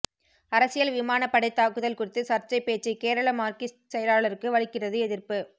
அரசியல் விமானப்படை தாக்குதல் குறித்து சர்ச்சை பேச்சு கேரள மார்க்சிஸ்ட் செயலாளருக்கு வலுக்கிறது எதிர்ப்பு